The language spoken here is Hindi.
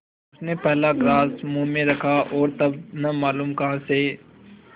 उसने पहला ग्रास मुँह में रखा और तब न मालूम कहाँ से